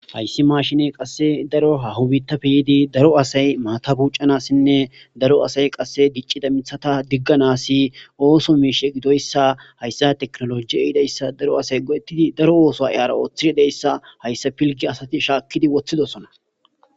Ha issi mashinee qassi daro haho biittape daro asay maaththa buucanasinne daro asay qassi diccida mitha digganasi ooso miisha giddiya issa. Ha issa teknolojje gidda issa daro asay go'ettidi daro ooso ara ooththidi de'ey issa. Ha issa pilggiya asathi shaakkidi woththidosona.